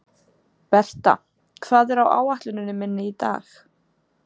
Berta, hvað er á áætluninni minni í dag?